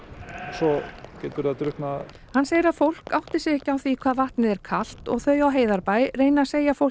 svo getur það drukknað hann segir að fólk átti sig ekki á því hvað vatnið er kalt og þau á Heiðarbæ reyni að segja fólki